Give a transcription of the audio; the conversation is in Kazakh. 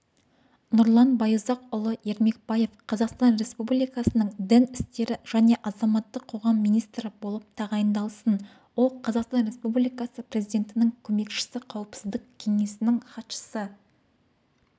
нұрлан байұзақұлы ермекбаев қазақстан республикасының дін істері және азаматтық қоғам министрі болып тағайындалсын ол қазақстан республикасы президентінің көмекшісі қауіпсіздік кеңесінің хатшысы